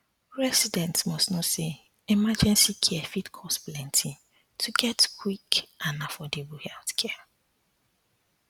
residents must know say emergency care fit cost plenty to get quick and affordable healthcare